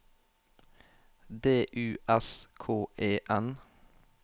D U S K E N